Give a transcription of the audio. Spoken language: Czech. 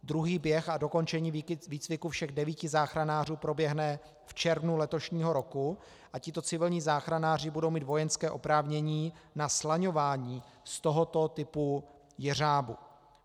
Druhý běh a dokončení výcviku všech devíti záchranářů proběhne v červnu letošního roku a tito civilní záchranáři budou mít vojenské oprávnění na slaňování z tohoto typu jeřábu.